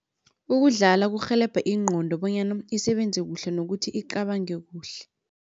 Ukudlala kurhelebha ingqondo bonyana isebenze kuhle nokuthi icabange kuhle.